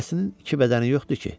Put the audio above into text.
Hərəsinin iki bədəni yoxdur ki?